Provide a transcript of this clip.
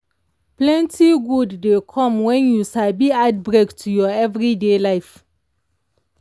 plenty good dey come when you sabi add break to your everyday life.